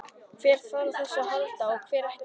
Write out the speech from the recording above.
Hver þarf á þessu að halda og hver ekki?